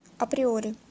априори